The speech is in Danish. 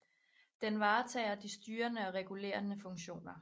Den varetager de styrende og regulerende funktioner